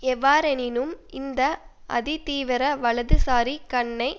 எவ்வாறெனினும் இந்த அதி தீவிர வலதுசாரி கன்னை